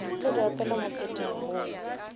le di opele moketeng wo